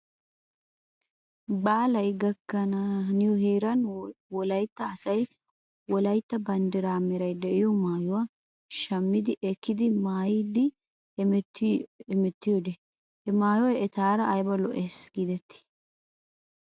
Baalay gakkana haniyoo heeran wolaytta asay wolaytta banddiraa meray de'iyoo maayuwaa shammi ekkidi maayidi hemettiyoode he maayoy etaara ayba lo'es giidetii?